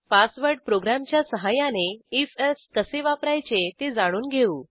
password प्रोग्रॅमच्या सहाय्याने if else कसे वापरायचे ते जाणून घेऊ